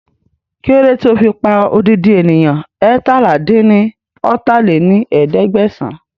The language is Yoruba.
Kílódé tí ó fi pa odidi ènìyàn eétalá-dín-ní-ọ́ta lé ní ẹ̀ẹ́dẹ́gbẹ́sán